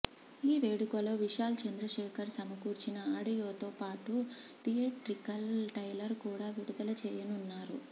ఈ వేడుకలో విశాల్ చంద్ర శేఖర్ సమకూర్చిన ఆడియోతో పాటు థియేట్రికల్ ట్రైలర్ కూడా విడుదల చేయనున్నారు